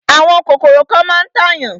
Àwọn kòkòrò kan máa ń tàyàn.